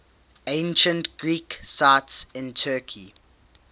ancient greek sites in turkey